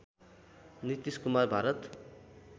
Nitish Kumar Bharat